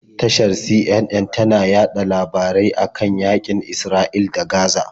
Tashar CNN tana yaɗa labarai a kan yaƙin Isra'ila da Gaza.